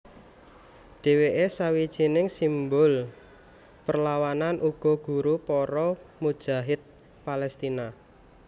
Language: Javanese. Dheweke sawijining simbul perlawanan uga guru para mujahid Palestina